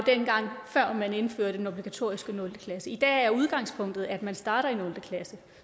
før man indførte den obligatoriske nul klasse i dag er udgangspunktet at man starter i nul klasse